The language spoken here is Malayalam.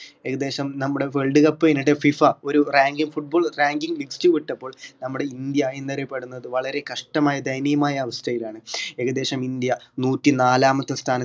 ഏകദേശം നമ്മുടെ world cup അയിനിടെ FIFA ഒരു rankingfootball ranking list വിട്ടപ്പോൾ നമ്മുടെ ഇന്ത്യ എന്നറിയപ്പെടുന്നത് വളരെ കഷ്ടമായ ദയനീയമായ അവസ്ഥയിലാണ് ഏകദേശം ഇന്ത്യ നൂറ്റിനാലാമത്തെ സ്ഥാനത്ത്